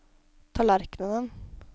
tallerkenen